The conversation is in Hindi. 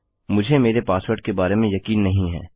मुझे मेरे पासवर्ड के बारे में यकीन नहीं है